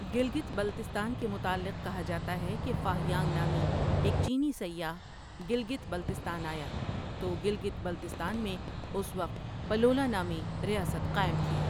گلگت بلتستان کے متعلق کہا جاتا ہے کہ فاہیانگ نامے ایک چینی سیاح گلگت بلتستان آیا تو گلگت بلتستان میں اس وقت پلولا نامی ریاست قائم تھی ۔